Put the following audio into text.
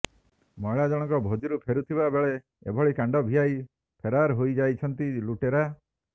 ମହିଳା ଜଣକ ଭୋଜି ରୁ ଫେରୁଥିବା ବେଳେ ଏଭଳି କାଣ୍ଡ ଭିଆଇ ଫେରାରହୋଇଯାଇଛନ୍ତି ଲୁଟେରା